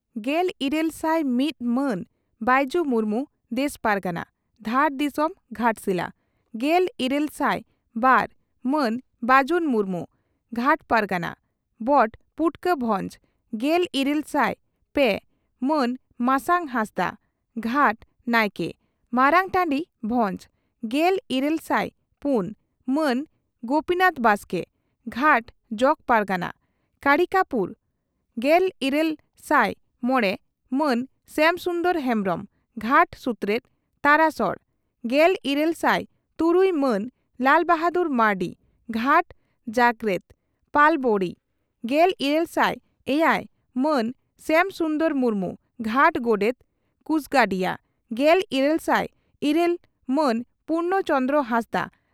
ᱜᱮᱞᱤᱨᱟᱹᱞ ᱥᱟᱭ ᱢᱤᱛ ᱢᱟᱱ ᱵᱟᱹᱭᱡᱩ ᱢᱩᱨᱢᱩ, ᱫᱮᱥ ᱯᱟᱨᱜᱟᱱᱟ, ᱫᱷᱟᱲ ᱫᱤᱥᱚᱢ, ᱜᱷᱟᱴᱥᱤᱞᱟ, ᱾ᱜᱮᱞᱤᱨᱟᱹᱞ ᱥᱟᱭ ᱵᱟᱨ ᱢᱟᱱ ᱵᱟᱹᱡᱩᱱ ᱢᱩᱨᱢᱩ, ᱜᱷᱟᱴ ᱯᱟᱨᱜᱟᱱᱟ, ᱵᱚᱴ ᱯᱩᱴᱠᱟᱹ ᱵᱷᱚᱡᱽ, ᱾ᱜᱮᱞᱤᱨᱟᱹᱞ ᱥᱟᱭ ᱯᱮ ᱢᱟᱱ ᱢᱟᱥᱟᱝ ᱦᱟᱸᱥᱫᱟᱜ, ᱜᱷᱟᱴ ᱱᱟᱭᱠᱮ, ᱢᱟᱨᱟᱝᱴᱟᱹᱰᱤ, ᱵᱷᱚᱸᱡᱽ, ᱾ᱜᱮᱞᱤᱨᱟᱹᱞ ᱥᱟᱭ ᱯᱩᱱ ᱢᱟᱱ ᱜᱚᱯᱤᱱᱟᱛᱷ ᱵᱟᱥᱠᱮ, ᱜᱷᱟᱴ ᱡᱚᱜᱚ ᱯᱟᱨᱜᱟᱱᱟ, ᱠᱟᱲᱤᱠᱟᱯᱩᱨ, ᱾ᱜᱮᱞᱤᱨᱟᱹᱞ ᱥᱟᱭ ᱢᱚᱲᱮ ᱢᱟᱱ ᱥᱭᱟᱢ ᱥᱩᱱᱫᱚᱨ ᱦᱮᱢᱵᱽᱨᱚᱢ, ᱜᱷᱟᱴ ᱥᱩᱛᱨᱮᱛ, ᱛᱟᱨᱟᱥᱚᱲ, ᱾ᱜᱮᱞᱤᱨᱟᱹᱞ ᱥᱟᱭ ᱛᱩᱨᱩᱭ ᱢᱟᱱ ᱞᱟᱞᱵᱟᱦᱟᱫᱩᱨ ᱢᱟᱨᱱᱰᱤ, ᱜᱷᱟᱴ ᱡᱟᱭᱨᱮᱛ, ᱯᱟᱞᱚᱵᱚᱬᱤ, ᱾ᱹᱜᱮᱞᱤᱨᱟᱹᱞ ᱥᱟᱭ ᱮᱭᱟᱭ ᱢᱟᱱ ᱥᱭᱟᱢ ᱥᱩᱱᱫᱚᱨ ᱢᱩᱨᱢᱩ, ᱜᱷᱟᱴ ᱜᱚᱰᱮᱛ, ᱠᱩᱥᱜᱟᱰᱤᱭᱟᱹ, ᱜᱮᱞᱤᱨᱟᱹᱞ ᱥᱟᱭ ᱤᱨᱟᱹᱞ ᱢᱟᱱ ᱯᱩᱨᱱᱚᱪᱚᱱᱫᱽᱨᱚ ᱦᱟᱸᱥᱫᱟᱜ